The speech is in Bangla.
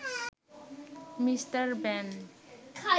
mister ban